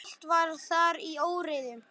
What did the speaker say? Allt var þar í óreiðu.